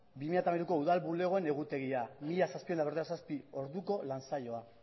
bi mila hamairuko udal bulegoen egutegia bat koma zazpiehun eta berrogeita zazpi orduko lan saioa